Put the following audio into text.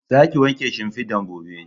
Za ki wanke shimfidan gobe